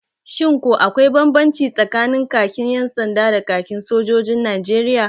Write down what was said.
Shin ko akwai banbanci tsakanin kakin 'yan sanda da kakin sojojin Najeriya?